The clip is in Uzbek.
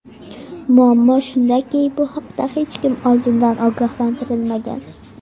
Muammo shundaki, bu haqda hech kim oldindan ogohlantirilmagan.